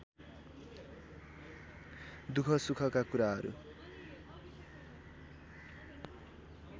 दुख सुखका कुराहरू